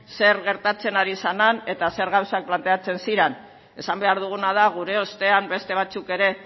zer gertatzen ari zen han eta zer gauza planteatzen ziren esan behar duguna da gure ostean beste batzuk ere